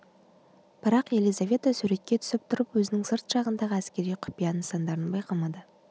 бірақ елизавета суретке түсіп тұрып өзінің сырт жағындағы әскери құпия нысандарын байқамады